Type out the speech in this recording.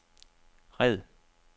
red